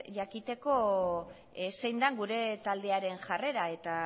jakiteko zein den gure taldearen jarrera eta